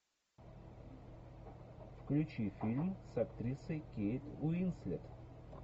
включи фильм с актрисой кейт уинслет